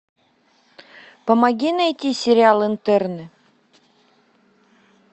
помоги найти сериал интерны